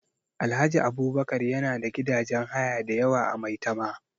Alhaji Abubakar yana da gidajen haya da yawa a Maitama